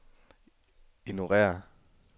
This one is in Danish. ignorér